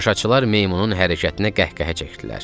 Tamaşaçılar meymunun hərəkətinə qəhqəhə çəkdilər.